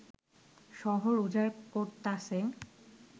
শহর উজাড় করতাছে